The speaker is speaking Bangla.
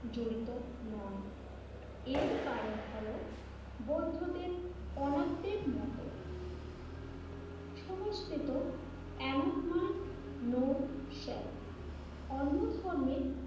জড়িত নয়। এর কারণ হলো বৌদ্ধদের অনাত্মীক মতবাদ সমষ্টি এনাকমান নো সেলফ। অন্য ধর্মের